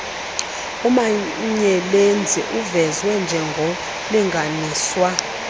umanyelenzi uvezwe njengornlinganiswa